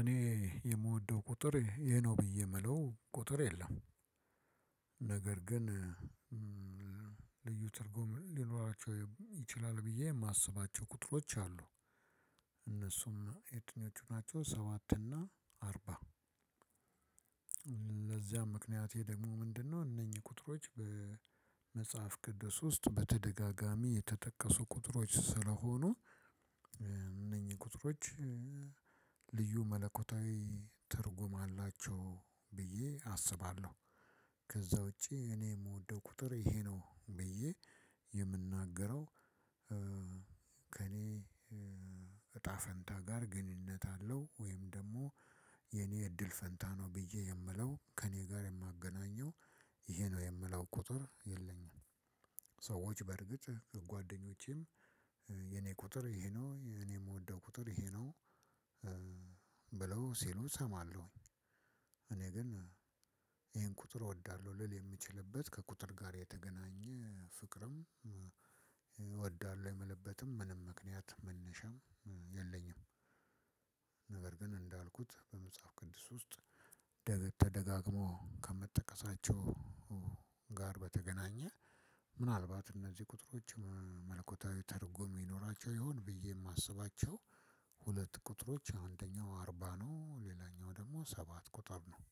እኔ የምወደው ቁጥር ይሄ ነው ብዬ የምለው ቁጥር የለም። ነገር ግን ልዩ ትርጉም ሊኖራቸው ይችላል ብዬ የማስባቸው ቁጥሮች አሉ። እነሱም የትኞቹ ናቸው? ሰባት እና አርባ። ለዚያም ምክንያቴ ደግሞ ምንድነው? እነኚህ ቁጥሮች በመጽሐፍ ቅዱስ ውስጥ በተደጋጋሚ የተጠቀሱ ቁጥሮች ስለሆኑ እነኚህ ቁጥሮች ልዩ መለኮታዊ ትርጉም አላቸው ብዬ አስባለሁ። ከዛ ውጪ እኔ የምወደው ቁጥር ይሄ ነው ብዬ የምናገረው ከእኔ እጣ ፈንታ ጋር ግንኙነት አለው ወይም ደግሞ የኔ እድል ፈንታ ነው ብዬ የምለው፣ ከእኔ ጋር የማገናኘው፣ ይሄ ነው የምለው ቁጥር የለኝም። ሰዎች በርግጥ ጓደኞቼም የኔ ቁጥር ይሄ ነው፣ የኔ የምወደው ቁጥር ይሄ ነው ብለው ሲሉ እሰማለሁኝ። እኔ ግን ይሄን ቁጥር እወዳለሁ ልል የምችልበት ከቁጥር ጋር የተገናኘ ፍቅርም፣ እወዳለሁ የምልበትም ምንም ምክንያት መነሻም የለኝም። ነበር ግን እንዳልኩት በመጽሐፍ ቅድስ ውስጥ ደግሞ ተደጋግሞ ከምትጠቀሳቸው ጋር በተገናኘ ምናልባት እነዚህ ቁጥሮች መለኮታዊ ተርጉም ይኖራቸው ይሆን? ብዬ የማስባቸው ሁለት ቁጥሮች፣ አንደኛው አርባ ነው፤ ሌላኛው ደግሞ ሰባት ቁጥር ነው።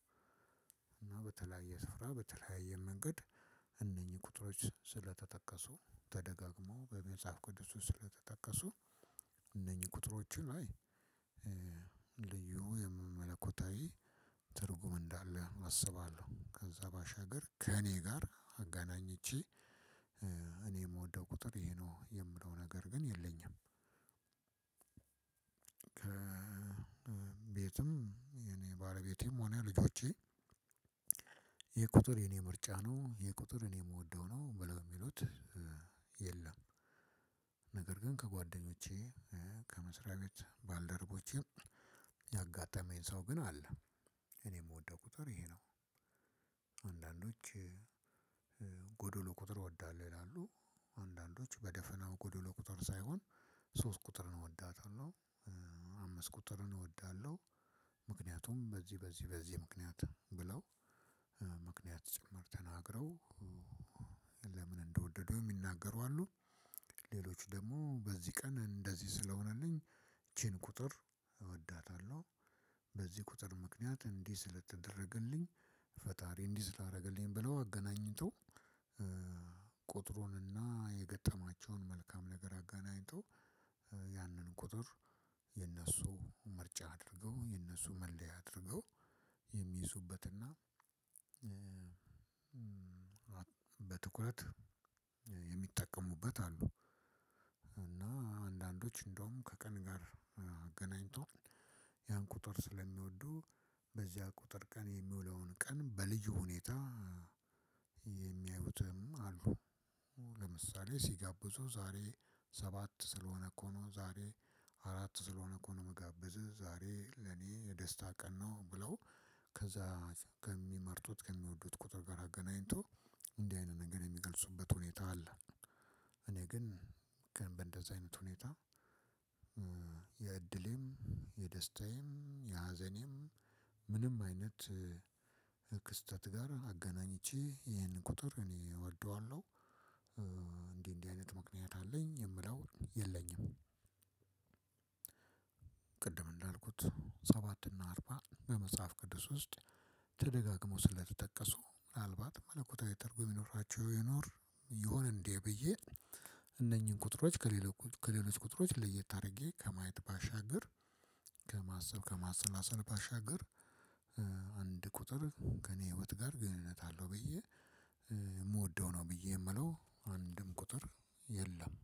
እና በተለያየ ስፍራ፣ በተለያየ መንገድ እነኚህ ቁጥሮች ስለተጠቀሱ፣ ተደጋግሞ በመጽሐፍ ቅዱስ ስለተጠቀሱ፣ ቁጥሮችን ላይ ልዩ የመመለኮታዊ ትርጉም እንዳለ አስባለሁ። ከዛ ባሻገር ከእኔ ጋር አጋናኝቼ እኔ የምወደው ቁጥር ይሄ ነው የምለው ነገር ግን የለኝም። ቤትም የእኔ ባሌበቴም ሆነ ልጆቼ ይሄ ቁጥር የእኔ ምርጫ ነው፣ ይሄ ቁጥር እኔ ምወደው ነው ብለው ምሉት የለም። ነገር ግን ከጓደኞቼ፣ ከመስሪያ ቤት ባልደረቦቼም ያጋጠመኝ ሰው ግን አለ። እኔ የምወደው ቁጥር ይሄ ነው። አንዳንዶች ጎዶሎ ቁጥር እወዳለሁ ይላሉ። አንዳንዶች በደፈናው ጎዶሎ ቁጥር ሳይሆን ሶስት ቁጥርን እወዳታለሁ፣ አምስት ቁጥርን እወዳለሁ። ምክንያቱም በዚህ በዚህ በዚህ ምክንያት ብለው ምክንያት ጭምር ተናግረው፣ ለምን እንደወደደው የሚናገሩ አሉ። ሌሎች ደግሞ በዚህ ቀን እንደዚህ ስለሆነልኝ ይቺን ቁጥር እወዳታለሁ። በዚህ ቁጥር ምክንያት እንዲህ ስለተደረገልኝ፣ ፈጣሪ እንዲህ ስላደረገልኝ ብለው አገናኝተው ቁጥሩንና የገጠማቸውን መልካም ነገር አጋናኝቶ ያንን ቁጥር የነሱ ምርጫ አድርገው፣ የነሱ መለያ አድርገው የሚይዙበትና በትኩረት የሚጠቀሙበት አሉ። እና አንዳንዶች እንደውም ከቀን ጋር አገናኝቶ ያን ቁጥር ስለሚወዱ በዚያ ቁጥር ቀን የሚውለውን ቀን በልዩ ሁኔታ የሚያዩትም አሉ። ለምሳሌ ሲጋብዙ ዛሬ ሰባት ስለሆነ እኮ ነው፣ ዛሬ አራት ስለሆነ እኮ ነው የምጋብዝህ፣ ዛሬ ለኔ የደስታ ቀን ነው ብለው ከዛ ከሚመርጡት፣ ከሚወዱት ቁጥር ጋር አገናኝቶ እንዲህ አይነት ነገር የሚገልጹበት ሁኔታ አለ። እኔ ግን ግን በእንደዛ አይነት ሁኔታ የእድሌም፣ የደስታዬም፣ የሀዘኔም ምንም አይነት ክስተት ጋር አገናኝቼ ይሄን ቁጥር እኔ እወደዋለሁ። እንዲህ፣ እንዲህ አይነት ምክንያት አለኝ የምለው የለኝም። ቅድም እንዳልኩት ሰባት እና አርባ በመጽሐፍ ቅዱስ ውስጥ ተደጋግሞ ስለተጠቀሱ ምናልባት መለኮታዊ ትርጉ የሚኖራቸው ይኖር፣ የሆነ እንዴ ብዬ እነኚህን ቁጥሮች ከሌሎች ቁጥሮች ለየት አድርጌ ከማየት ባሻገር፣ ከማሰብ፣ ከማሰላሰል ባሻገር አንድ ቁጥር ከእኔ ህይወት ጋር ግንኙነት አለው ብዬ የምወደው ነው ብዬ የምለው አንድም ቁጥር የለም።